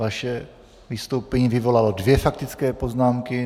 Vaše vystoupení vyvolalo dvě faktické poznámky.